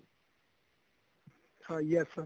ਹਾਂ yes sir